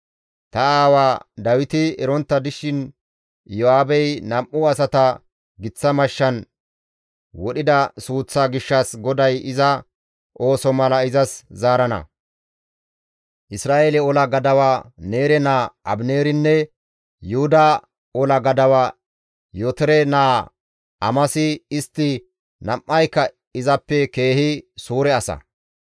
Ta aawa Dawiti erontta dishin Iyo7aabey nam7u asata giththa mashshan wodhida suuththa gishshas GODAY iza ooso mala izas zaarana; Isra7eele ola gadawa Neere naa Abineerinne Yuhuda ola gadawa Yootore naa Amasi istti nam7ayka izappe keehi suure asa.